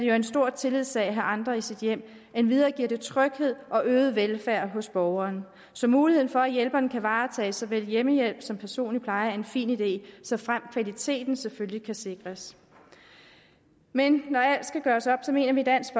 er en stor tillidssag at have andre i sit hjem endvidere giver det tryghed og øget velfærd hos borgeren så muligheden for at hjælperen kan varetage så vel hjemmehjælp som personlig pleje er en fin idé såfremt kvaliteten selvfølgelig kan sikres men når alt skal gøres op mener vi i dansk